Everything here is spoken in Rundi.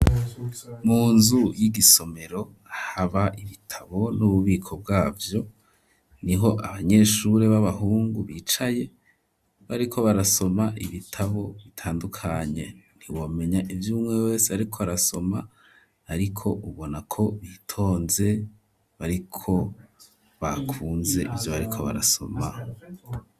Mu nzu y'igisomero haba ibitabo n'ububiko bwavyo niho abanyeshuri baba hungu bicaye bariko barasoma ibitabo bitandukanye nti womenya ivyumwe wese ariko arasoma ariko ubona ko bitonze bariko bakunze ivyo bariko barasoma.